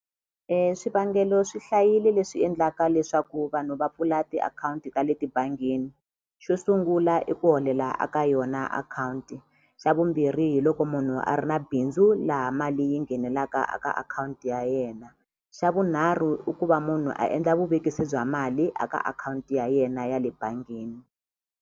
swivangelo swi hlayile leswi endlaka leswaku vanhu va pfula tiakhawunti ta le tibangini xo sungula i ku holela a ka yona akhawunti xa vumbirhi hiloko munhu a ri na bindzu laha mali yi nghenelaka a ka akhawunti ya yena xa vunharhu i ku va munhu a endla vuvekisi bya mali a ka akhawunti ya yena ya le bangini.